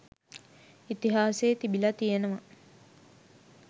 ඉතිහාසයේ තිබිලා තියෙනවා